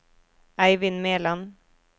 Eivind Meland